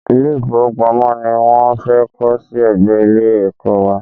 Ilé-ìfówopamọ́ ni wọ́n fẹ́ kọ́ sí ẹ̀gbẹ́ Ilé-ẹ̀kọ́ wa